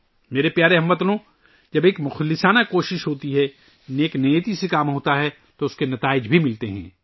میرے پیارے ہم وطنو ، جب خلوص نیت سے کام کیا جائے تو اس کے نتائج بھی سامنے آتے ہیں